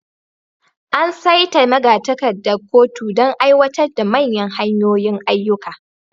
An saita magatakardar kotun don aiwatar da manyan hanyoyin ayyuka.